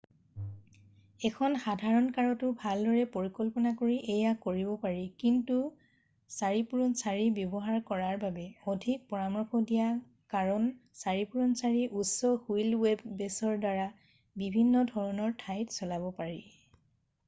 এখন সাধাৰণ কাৰতো ভালদৰে পৰিকল্পনা কৰি এয়া কৰিব পাৰি কিন্তু 4x4 ব্যৱহাৰ কৰাৰ বাবে অধিক পৰামৰ্শ দিয়া হয় কাৰণ 4x4ৰ উচ্চ হুইল বে'ছৰ দ্বাৰা বিভিন্ন ধৰণৰ ঠাইত চলাব পাৰি।